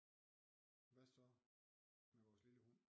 Hvad så med vores lille hund